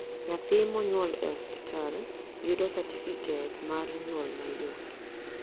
nyathi mo nyuol e osiptal yudo satifiket mat nyuol mayot